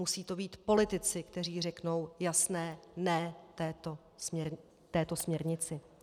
Musí to být politici, kteří řeknou jasné ne této směrnici.